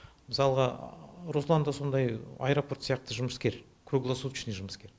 мысалға руслан да сондай аэропорт сияқты жұмыскер круглосуточный жұмыскер